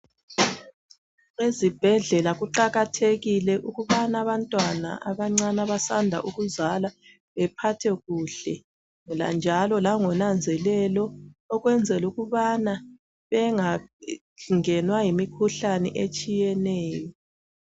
Ezibhedlela kuqakathekile ukubana abantwana abancane abasanda ukuzalwa bephathwe kuhle njalo langnanzelelo ukwenzela ukubana bengangenwa yimikhuhlane etshiyeneyo.